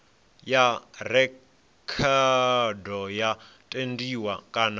ya rekhodo yo tendiwa kana